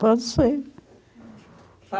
Pode ser.